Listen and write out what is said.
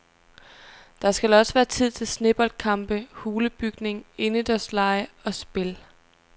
Der skal også være tid til sneboldkampe, hulebygning, indendørslege og spil.